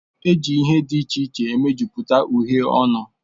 Eji ihe dị iche iche mejupụta uhiè ọnụ